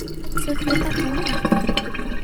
Si fiican uma arag